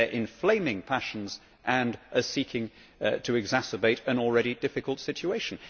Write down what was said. They are inflaming passions and seeking to exacerbate an already difficult situation.